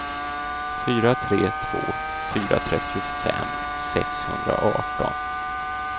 fyra tre två fyra trettiofem sexhundraarton